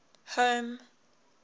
home